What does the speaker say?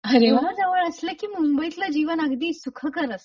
अरे वा हे जवळ असले की मुंबईतल जीवन अगदी सुखकर असत.